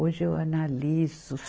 Hoje eu analiso.